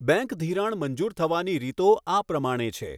Bank ધીરાણ મંજૂર થવાની રીતો આ પ્રમાણે છે.